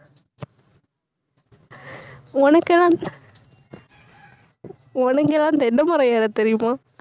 உனக்கு எல்லாம் உனக்கு எல்லாம் தென்னை மரம் ஏறத் தெரியுமா